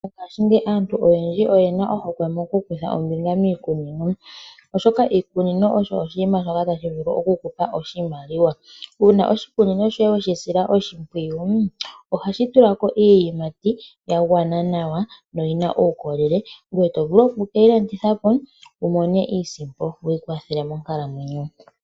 Mongashingeyi aantu oyendji oyena ohokwe moku kutha ombinga miikunino, oshoka iikunino osho oshinima shoka tashi vulu oku kupa oshimaliwa. Uuna oshikunino shoye weshi sila oshimpwiyu ohashi tula ko iiyimati ya gwana nawa no yina uukolele ngoye oto vulu oku keyi landitha po wu mone iisimpo wu ikwathele monkalamwenyo.